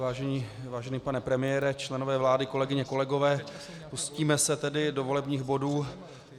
Vážený pane premiére, členové vlády, kolegyně, kolegové, pustíme se tedy do volebních bodů.